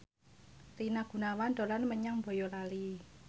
Rina Gunawan dolan menyang Boyolali